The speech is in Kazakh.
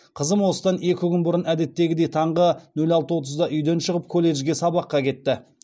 қызым осыдан екі күн бұрын әдеттегідей таңғы нөл алты отызда үйден шығып колледжге сабаққа кетті